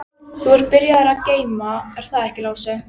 Þú ert byrjaður að geyma, er það ekki Lási?